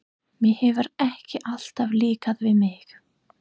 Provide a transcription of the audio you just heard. Mér hefur ekki alltaf líkað við mig.